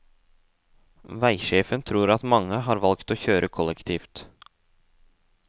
Veisjefen tror at mange har valgt å kjøre kollektivt.